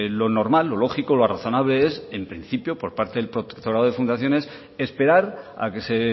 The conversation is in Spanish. lo normal lo lógico lo razonable es en principio por parte del protectorado de fundaciones esperar a que se